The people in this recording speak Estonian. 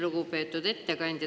Lugupeetud ettekandja!